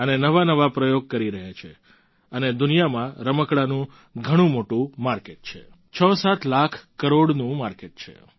અને નવાનવા પ્રયોગ કરી રહ્યા છે અને દુનિયામાં રમકડાંનું ઘણું મોટું માર્કેટ છે 67 લાખ કરોડનું માર્કેટ છે